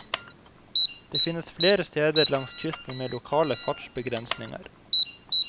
Det finnes flere steder langs kysten med lokale fartsbegrensninger.